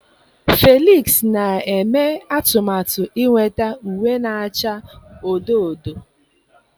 Felix na-eme atụmatụ inweta uwe na-acha odo odo